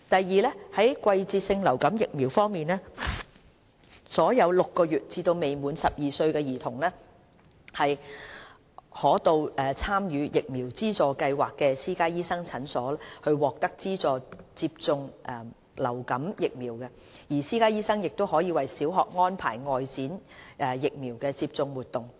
二在季節性流感疫苗方面，所有6個月至未滿12歲兒童可到參與疫苗資助計劃的私家醫生診所獲得資助接種流感疫苗，私家醫生亦可為小學安排外展疫苗接種活動。